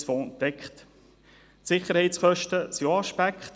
Auch die Sicherheitskosten sind ein Aspekt.